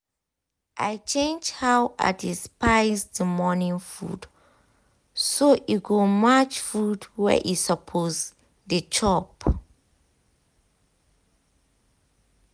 i change how i dey spice the morning food so e go match food wey e suppose dey chop